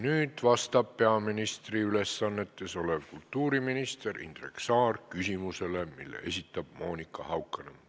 Nüüd vastab peaministri ülesannetes olev kultuuriminister Indrek Saar küsimusele, mille esitab Monika Haukanõmm.